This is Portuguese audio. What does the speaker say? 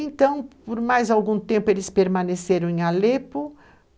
Então, por mais algum tempo, eles permaneceram em Alepo.